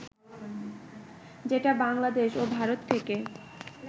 যেটা বাংলাদেশ ও ভারত থেকে